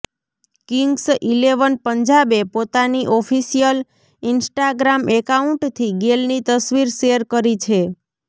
Kings eleven પંજાબે પોતાની official Instagram એકાઉન્ટથી ગેલની તસવીર શેર કરી છે